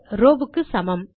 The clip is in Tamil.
ரோவ் க்கு சமம்